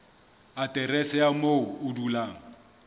aterese ya moo o dulang